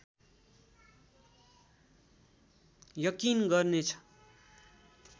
यकिन गर्नेछ